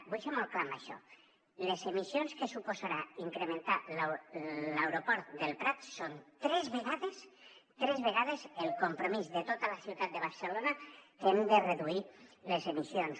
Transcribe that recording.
vull ser molt clar amb això les emissions que suposarà incrementar l’aeroport del prat són tres vegades tres vegades el compromís de tota la ciutat de barcelona que hem de reduir les emissions